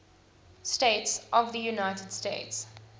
states of the united states